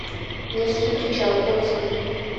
невский причал отзывы